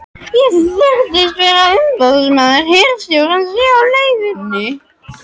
Ég þykist vita að umboðsmaður hirðstjórans sé á leiðinni.